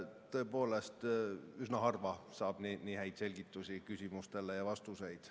Tõepoolest, üsna harva saab nii häid selgitusi küsimustele ja vastuseid.